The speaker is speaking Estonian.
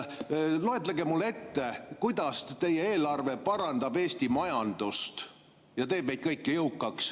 Loetlege mulle, kuidas teie eelarve parandab Eesti majandust ja teeb meid kõiki jõukaks.